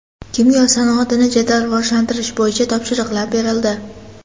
Kimyo sanoatini jadal rivojlantirish bo‘yicha topshiriqlar berildi.